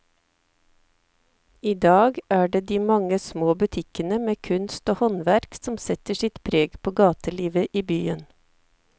I dag er det de mange små butikkene med kunst og håndverk som setter sitt preg på gatelivet i byen.